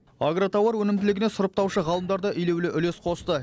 агротауар өнімділігіне сұрыптаушы ғалымдар да елеулі үлес қосты